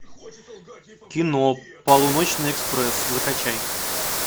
кино полуночный экспресс закачай